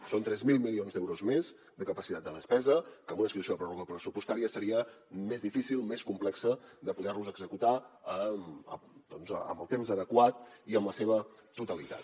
són tres mil milions d’euros més de capacitat de despesa que en una situació de pròrroga pressupostària seria més difícil més complex de poder los executar doncs amb el temps adequat i en la seva totalitat